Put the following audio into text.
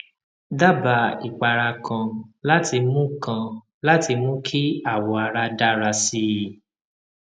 daba ipara kan láti mú kan láti mú kí awọ ara dára sí i